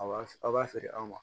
Aw b'a aw b'a feere aw ma